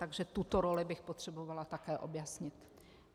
Takže tuto roli bych potřebovala také objasnit.